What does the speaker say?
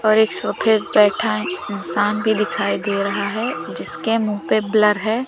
और एक सोफे पे बैठा इंसान भी दिखाई दे रहा है जिसके मुंह पे ब्लर है।